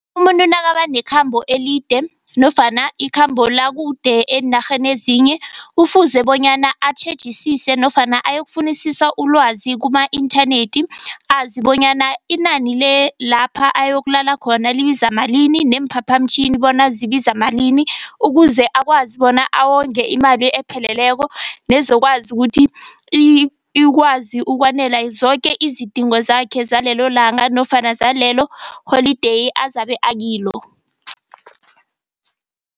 Umuntu nakaba nekhambo elide nofana ikhambo lakude eenarheni ezinye. Kufuze bonyana atjhejisise nofana ayokufunisisa ulwazi kuma-inthanethi, azi bonyana inani le lapha ayokulala khona libiza malini neemphaphamtjhini bona zibiza malini. Ukuze akwazi bona awonge imali epheleleko nezokwazi ukuthi ikwazi ukwanela zoke izidingo zakhe zalelo langa nofana zalelo holideyi azabe akilo.